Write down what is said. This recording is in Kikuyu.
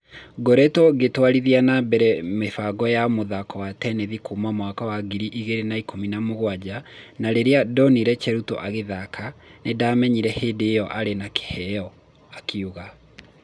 Nĩngoretwo ngĩtwarithia na mbere mĩbango ya mũthako wa tenethi kuma mwaka wa ngiri igĩrĩ na mũgwanja na rĩrĩa ndinire Cheruto agĩthaka, nĩndamenyire hĩndi ĩo nĩ arĩ na kĩheo,' akiuga.